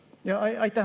Aitäh!